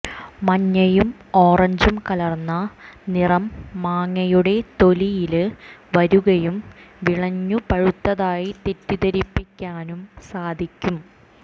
മഞ്ഞയും ഓറഞ്ചും കലര്ന്ന നിറം മാങ്ങയുടെ തൊലിയില് വരുകയും വിളഞ്ഞു പഴുത്തതായി തെറ്റിദ്ധരിപ്പിക്കാനും സാധിക്കും